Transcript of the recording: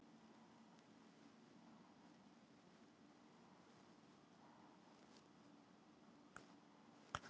Á Vísindavefnum er til mikið af svörum um jörðina og sólkerfið.